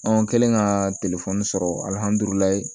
An kɛlen ka sɔrɔ